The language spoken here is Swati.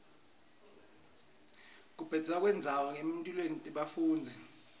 kubhebhetseka kwendlala etimphilweni tebafundzi